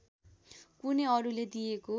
कुनै अरूले दिएको